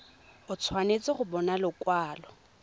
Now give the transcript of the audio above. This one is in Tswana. o tshwanetse go bona lekwalo